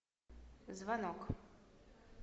звонок